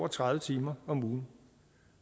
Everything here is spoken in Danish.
tredive timer om ugen